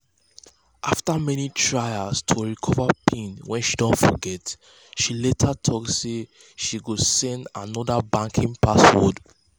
after many tries to recover pin wen she don forget she later talk say she go set anodr banking password